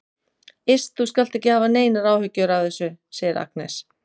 Iss, þú skalt ekki hafa neinar áhyggjur af þessu, segir Agnes.